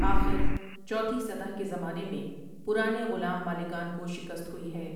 آخر چوتھی سطح کے زمانے میں پرانے غلام مالکان کو شکت ہوئی ہے ۔